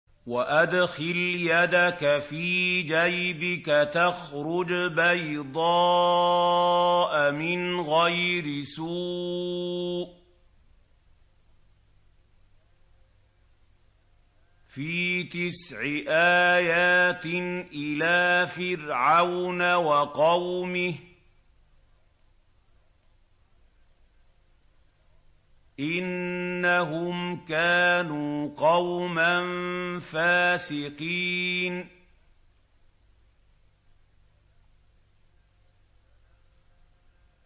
وَأَدْخِلْ يَدَكَ فِي جَيْبِكَ تَخْرُجْ بَيْضَاءَ مِنْ غَيْرِ سُوءٍ ۖ فِي تِسْعِ آيَاتٍ إِلَىٰ فِرْعَوْنَ وَقَوْمِهِ ۚ إِنَّهُمْ كَانُوا قَوْمًا فَاسِقِينَ